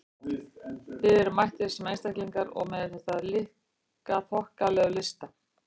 Þið eruð mættir sem einstaklingar- og með þessa líka þokkalegu lista!